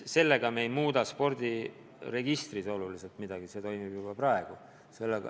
Sellega me ei muuda spordiregistris oluliselt midagi, see toimib juba praegu.